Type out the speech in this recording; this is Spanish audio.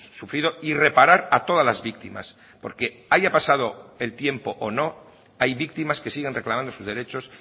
sufrido y reparar a todas las víctimas porque haya pasado el tiempo o no hay víctimas que siguen reclamando sus derechos